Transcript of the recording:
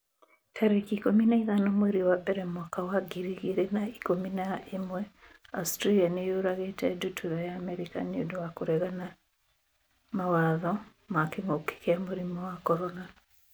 tarĩki ikũmi na ithano mweri wa mbere mwaka wa ngiri igĩrĩ na ikũmi na ĩmweAustralia nĩ yũragĩte ndutura ya Amerika 'nĩ ũndũ wa kũregana mawatho ma kĩngũki kia mũrimũ wa CORONA